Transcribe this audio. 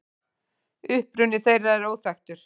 Uppruni þeirra er óþekktur.